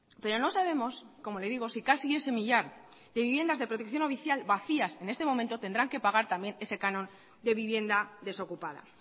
pero no sabemos como le digo si casi ese millar de viviendas de protección oficial vacías en este momento tendrán que pagar también ese canon de vivienda desocupada